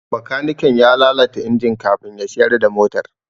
Bakaniken ya lalata injin kafin ya siyar da motar.